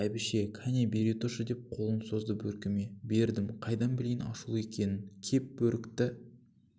бәйбіше кәні бере тұршы деп қолын созды бөркіме бердім қайдан білейін ашулы екенін кеп бөрікті